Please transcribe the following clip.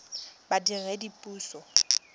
badiredipuso